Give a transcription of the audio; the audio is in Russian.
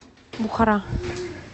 бухара